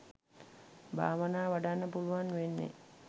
භාවනා වඩන්න පුළුවන් වෙන්නෙ.